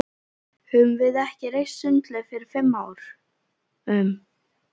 Höfðum við ekki reist sundlaug fyrir fimm árum?